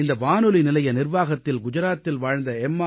இந்த வானொலி நிலைய நிர்வாகத்தில் குஜராத்தில் வாழ்ந்த எம்